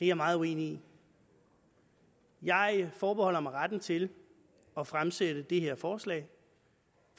jeg meget uenig i jeg forbeholder mig retten til at fremsætte det her forslag